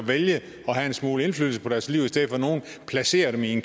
at vælge at have en smule indflydelse på deres liv i stedet for at nogle placerer dem i